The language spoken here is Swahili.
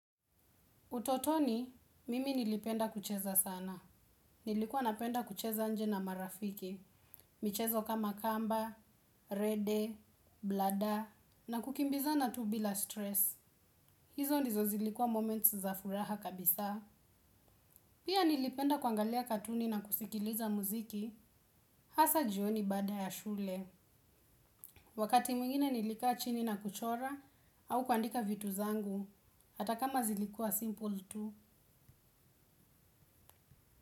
Utotoni, mimi nilipenda kucheza sana. Nilikuwa napenda kucheza nje na marafiki. Michezo kama kamba rede blada na kukimbizana tu bila stress. Hizo ndizo zilikuwa moments za furaha kabisa. Pia nilipenda kuangalia katuni na kusikiliza muziki, hasa jioni baada ya shule. Wakati mwingine nilikaa chini na kuchora au kuandika vitu zangu, hata kama zilikuwa simple tu.